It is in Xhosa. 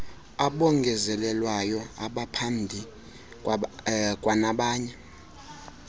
abongezelelweyo abaphandi kwanabanye